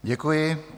Děkuji.